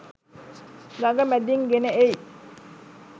ගඟ මැදින් ගෙන එයි.